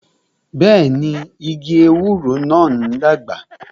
Bẹẹni, igi ewúro náà ń dàgbà